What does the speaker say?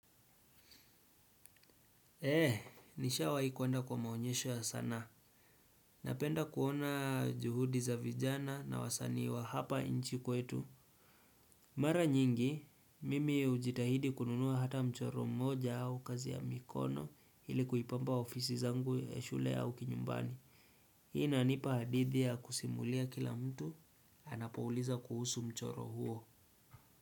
Eee, nishawahi kuenda kwa maonyesho ya sanaa. Napenda kuona juhudi za vijana na wasanii wa hapa nchi kwetu. Mara nyingi, mimi hujitahidi kununua hata mchoro moja au kazi ya mikono ili kuipamba ofisi zangu ya shule au kinyumbani. Hii inanipa hadithi ya kusimulia kila mtu, anapouliza kuhusu mchoro huo.